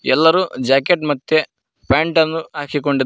ಎಲ್ಲರು ಜಾಕೆಟ್ ಮತ್ತೆ ಪ್ಯಾಂಟನ್ನು ಹಾಕಿಕೊಂಡಿ--